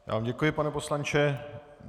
Já vám děkuji, pane poslanče.